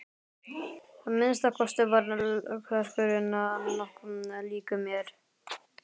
Að minnsta kosti var klerkurinn nokkuð líkur mér.